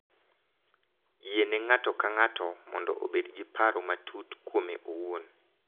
Yiene ng’ato ka ng’ato mondo obed gi paro matut kuome owuon.